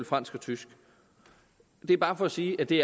fransk og tysk det er bare for at sige at det